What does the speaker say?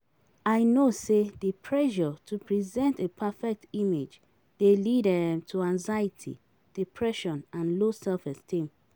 I know say di pressure to present a perfect image dey lead um to anxiety, depression and low self-esteem.